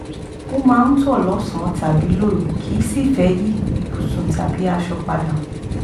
ó máa ń tọ̀ lọ́sàn-án tàbí lóru kìí sìí fẹ́ yí ibùsùn tàbí aṣọ padà